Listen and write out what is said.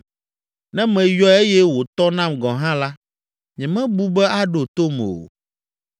Ne meyɔe eye wòtɔ nam gɔ̃ hã la, nyemebu be aɖo tom o.